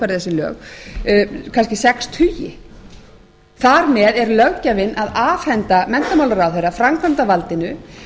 að útfæra þessi lög kannski sex tugi þar með er löggjafinn að afhenda menntamálaráðherra framkvæmdarvaldinu